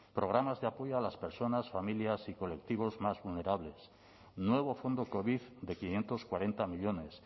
programas de apoyo a las personas familias y colectivos más vulnerables nuevo fondo covid de quinientos cuarenta millónes